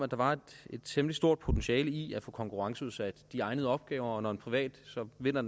at der var et temmelig stort potentiale i at få konkurrenceudsat de egnede opgaver og når en privat så vinder